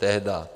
Tehdy.